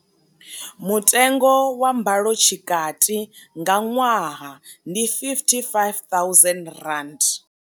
Mutengo wa mbalotshikati nga ṅwaha ndi R55 000.